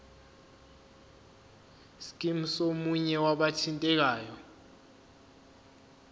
scheme somunye wabathintekayo